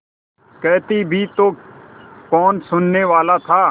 कहती भी तो कौन सुनने वाला था